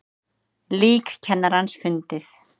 Lík kennarans fundið